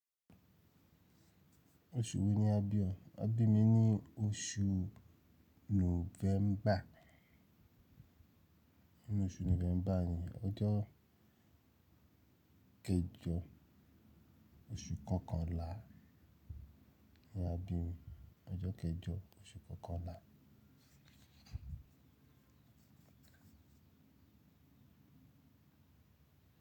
Oṣù wo ni a bí o? A bí mi ní oṣù Nọ́vẹ́mbà. Oṣù Nọ́vẹ́mbà ni, ọjọ́ kejọ oṣù kọkànlá ni a bí mi. Ọjọ́ kejọ oṣù kọkànlá.